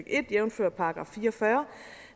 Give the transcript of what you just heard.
en jævnfør § fire og fyrre